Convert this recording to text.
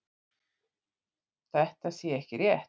Þetta sé ekki rétt